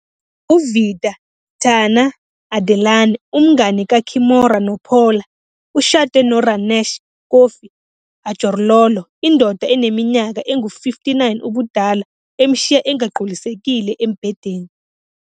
UVida, Tana Adelana, umngani kaKimora noPaula, ushade noRanesh, Kofi Adjorlolo, indoda eneminyaka engu-59 ubudala emshiya engagculisekile embhedeni.